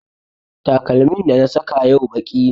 Takalmin da na saka yau baƙi ne